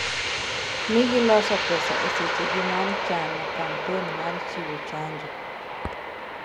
ni gisolo pesa esechegi mar chano kampen mar chiwo chanjo